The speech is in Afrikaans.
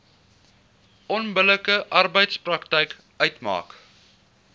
onbillike arbeidspraktyk uitmaak